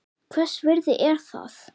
Hvers virði er það?